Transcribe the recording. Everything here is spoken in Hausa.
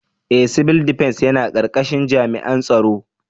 Ee! Civil Defence yana karkashin jami'an tsaro.